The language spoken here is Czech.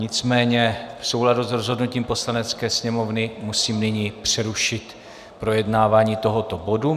Nicméně v souladu s rozhodnutím Poslanecké sněmovny musím nyní přerušit projednávání tohoto bodu.